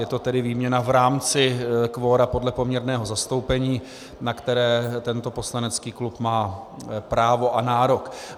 Je to tedy výměna v rámci kvora podle poměrného zastoupení, na které tento poslanecký klub má právo a nárok.